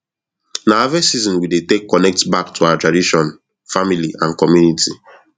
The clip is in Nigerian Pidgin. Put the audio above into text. na harvest season we dey take connect back to our tradition family and community